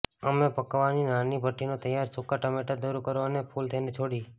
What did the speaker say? અમે પકાવવાની નાની ભઠ્ઠી ના તૈયાર સૂકાં ટામેટાં દૂર કરો અને કૂલ તેને છોડી